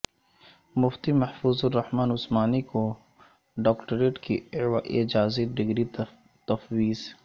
مفتی محفوظ الرحمن عثمانی کو ڈاکٹریٹ کی اعزازی ڈگری تفویض